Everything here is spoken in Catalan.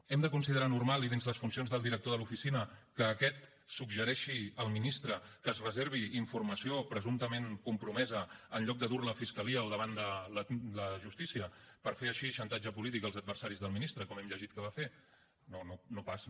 hem de considerar normal i dins les funcions del director de l’oficina que aquest suggereixi al ministre que es reservi informació presumptament compromesa en lloc de dur la a fiscalia o davant de la justícia per fer així xantatge polític als adversaris del ministre com hem llegit que va fer no no no pas no